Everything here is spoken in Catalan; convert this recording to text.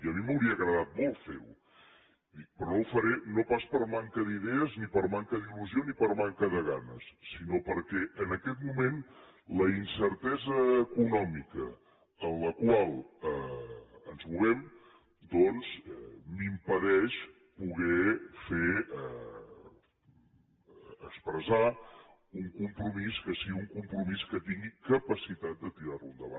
i a mi m’hauria agradat molt fer ho dic però no ho faré no pas per manca d’idees ni par manca d’il·lusió ni per manca de ganes sinó perquè en aquest moment la incertesa econòmica en la qual ens movem doncs m’impedeix poder fer expressar un compromís que sigui un compromís que tingui capacitat de tirar lo endavant